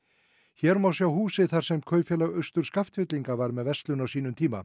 hér má sjá húsið þar sem Kaupfélag Austur Skaftfellinga var með verslun á sínum tíma